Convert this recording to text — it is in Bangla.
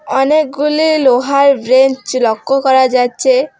অনেকগুলি লোহার ব্রেঞ্চ লক্ষ্য করা যাচ্ছে।